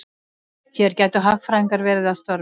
Hér gætu hagfræðingar verið að störfum.